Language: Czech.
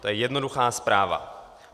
To je jednoduchá zpráva.